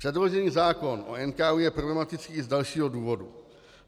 Předložený zákon o NKÚ je problematický i z dalšího důvodu.